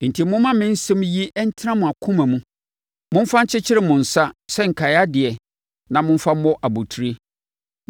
Enti, momma me nsɛm yi ntena mo akoma mu. Momfa nkyekyere mo nsa sɛ nkaedeɛ na momfa mmɔ abotire.